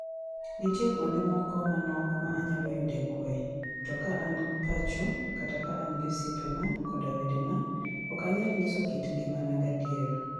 Nitie kuonde moko manok ma anyalo yude kuwe, to ka an pacho, kata ka an gi osiepena koda wedena, ok anyal nyiso kit ngimana gadier. "